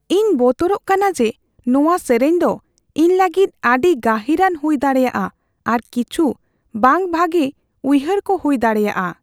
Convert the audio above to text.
ᱤᱧ ᱵᱚᱛᱚᱨᱚᱜ ᱠᱟᱱᱟ ᱡᱮ ᱱᱚᱣᱟ ᱥᱮᱨᱮᱧ ᱫᱚ ᱤᱧ ᱞᱟᱹᱜᱤᱫ ᱟᱹᱰᱤ ᱜᱟᱹᱦᱤᱨᱟᱱ ᱦᱩᱭ ᱫᱟᱲᱮᱭᱟᱜᱼᱟ ᱟᱨ ᱠᱤᱪᱷᱩ ᱵᱟᱝ ᱵᱷᱟᱜᱮ ᱩᱭᱦᱟᱹᱨᱠᱚ ᱦᱩᱭ ᱫᱟᱲᱮᱭᱟᱜᱼᱟ ᱾